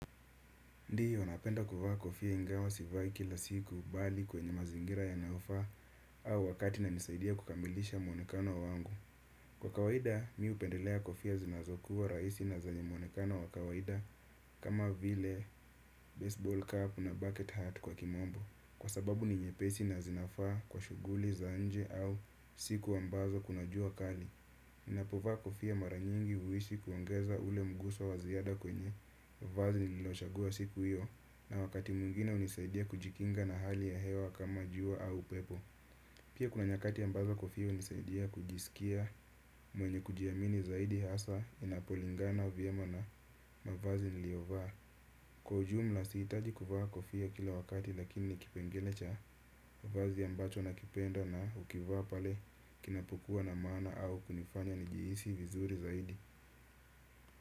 Ndio napenda kuvaa kofia ingawa sivai kila siku bali kwenye mazingira yanayofaa au wakati inanisaidia kukamilisha mwonekano wa wangu. Kwa kawaida, mimi hupendelea kofia zinazokuwa rahisi na zenye mwonekano wa kawaida kama vile baseball cap na bucket hat kwa kimombo. Kwa sababu ni nyepesi na zinafaa kwa shughuli za nje au siku ambazo kuna jua kali. Ninapovaa kofia mara nyingi huishi kuongeza ule mguso wa ziada kwenye vazi nililochagua siku hiyo na wakati mwingine hunisaidia kujikinga na hali ya hewa kama jua au upepo. Pia kuna nyakati ambazo kofia hunisaidia kujisikia mwenye kujiamini zaidi hasa inapolingana vyema na mavazi niliyovaa. Kwa ujumla sihutaji kuvaa kofia kila wakati lakini ni kipengele cha vazi ambacho nakipenda na hukivaa pale kinapuokuwa na maana au kunifanya nijihisi vizuri zaidi.